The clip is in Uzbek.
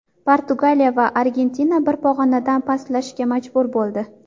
Portugaliya va Argentina bir pog‘onadan pastlashga majbur bo‘ldi.